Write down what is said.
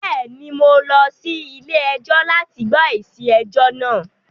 Bẹ́ẹ̀ ni, mo lọ sí ilé-ẹjọ́ láti gbọ́ èsì ẹjọ náà